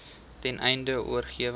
ten einde oorweging